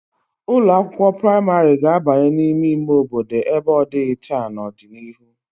Ụlọ akwụkwo praịmarị ga-abanye n'ime ime obodo ebe ọ dịghị taa n'ọdịnihu.